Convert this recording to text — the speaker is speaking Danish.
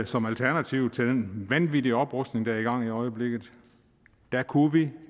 som alternativ til den vanvittige oprustning der er i gang i øjeblikket der kunne vi